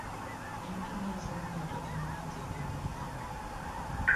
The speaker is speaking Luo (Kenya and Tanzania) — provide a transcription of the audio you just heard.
En gima nyiso ni ng'ato en ng'a tiende mar dhano.